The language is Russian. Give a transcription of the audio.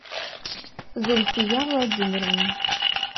зульфия владимировна